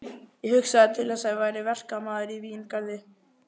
Ég hugsaði til þess að ég væri verkamaður í víngarði